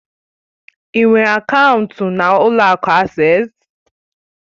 Ị nwere akaụntụ na ụlọ akụ Asés?